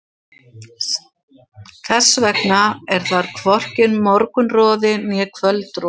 Þess vegna er þar hvorki morgunroði né kvöldroði.